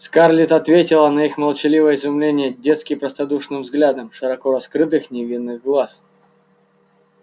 скарлетт ответила на их молчаливое изумление детски простодушным взглядом широко раскрытых невинных глаз